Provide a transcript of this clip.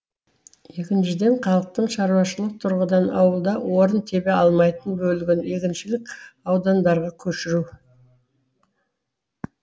екіншіден халықтың шаруашылық тұрғыдан ауылда орын тебе алмайтын бөлігін егіншілік аудандарға көшіру